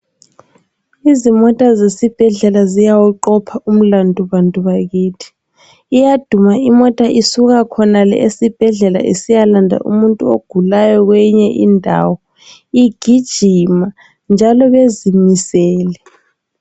Izimota zesibhedlela ziyawuqopha umlandu bantu bakithi iyaduma imota isuka khonale esibhedlela isiyalanda umutu ogulayo kweyinye indawo igijima njalo bezimisele .